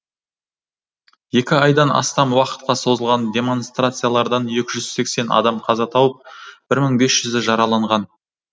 екі айдан астам уақытқа созылған демонстрациялардан екі жүз сексен адам қаза тауып бір мың бес жүзі жараланған